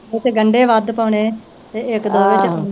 ਉਤੇ ਗੰਢੇ ਵੱਧ ਪਾਉਣੇ ਤੇ ਇਕ ਦੋ ਵਿਚ ਆਲੂ